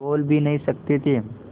बोल भी नहीं सकते थे